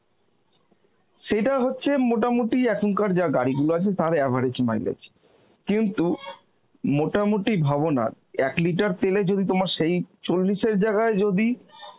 সেটা হচ্ছে মোটামুটি এখনকার যা গাড়ি গুলো আছে তার average mileage, কিন্তু মোটামুটি ভাবো না এক litre তেল এ যদি তোমার সেই চল্লিশ এর জায়গায় যদি